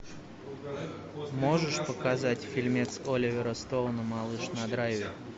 можешь показать фильмец оливера стоуна малыш на драйве